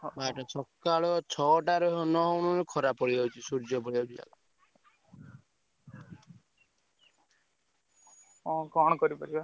ସକାଳ ଛଅ ଟା ନ ହଉଣୁ ଖରା ପଡ଼ିଯାଉଛିସୂର୍ଯ୍ୟ ପଳେଇଆସୁଛନ୍ତି।